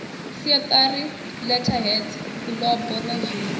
siatari letterheads fulubo na zwinwe